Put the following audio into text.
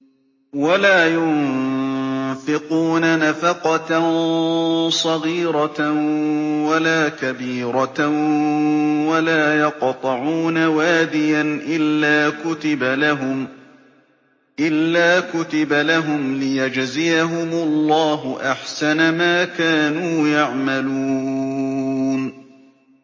وَلَا يُنفِقُونَ نَفَقَةً صَغِيرَةً وَلَا كَبِيرَةً وَلَا يَقْطَعُونَ وَادِيًا إِلَّا كُتِبَ لَهُمْ لِيَجْزِيَهُمُ اللَّهُ أَحْسَنَ مَا كَانُوا يَعْمَلُونَ